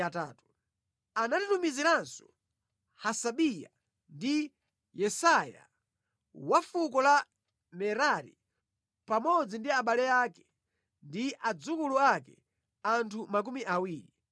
Anatitumiziranso Hasabiya ndi Yesaiya wa fuko la Merari pamodzi ndi abale ake ndi adzukulu ake, anthu makumi awiri.